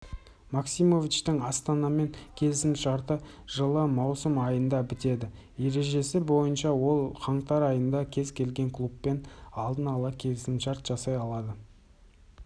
максимовичтің астанамен келісімшарты жылы маусым айында бітеді ережесі бойынша ол қаңтар айында кез келген клубпен алдын ала келісім жасай алады